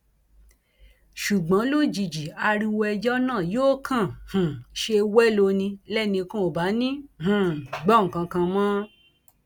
ṣùgbọn lójijì ariwo ẹjọ náà yóò kàn um ṣe wẹlo ni lẹnìkan ò bá ní um í gbọ nǹkan kan mọ